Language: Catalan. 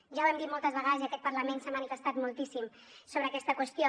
ja ho hem dit moltes vegades i aquest parlament s’ha manifestat moltíssim sobre aquesta qüestió